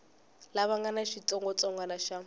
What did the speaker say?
lava nga na xitsongwatsongwana xa